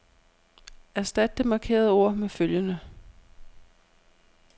Erstat det markerede ord med følgende.